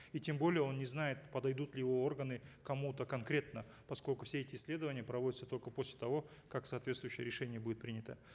и тем более он не знает подойдут ли его органы кому то конкретно поскольку все эти исследования проводятся только после того как соответствующее решение будет принято